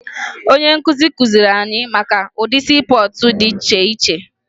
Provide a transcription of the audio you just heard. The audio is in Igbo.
Onye nkụzi kụziri anya maka ụdị siipọọtụ dị iche iche